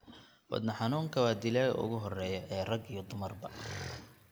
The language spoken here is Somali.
Wadne xanuunka waa dilaaga ugu horreeya ee rag iyo dumarba.